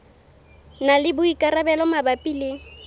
na le boikarabelo mabapi le